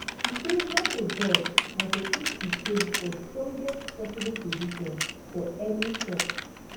e say nato job na to put ukraine for strongest possible position for any tok